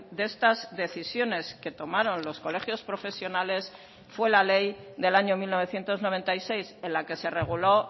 de estas decisiones que tomaron los colegios profesionales fue la ley del año mil novecientos noventa y seis en la que se reguló